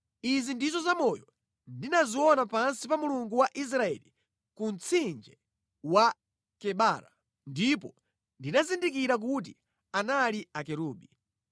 Izi ndizo zamoyo ndinaziona pansi pa Mulungu wa Israeli ku mtsinje wa Kebara, ndipo ndinazindikira kuti anali akerubi.